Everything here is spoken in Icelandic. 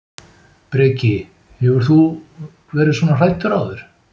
Breki: Hefur þú verið svona hræddur áður?